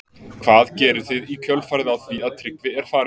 Hvað gerið þið í kjölfarið á því að Tryggvi er farinn?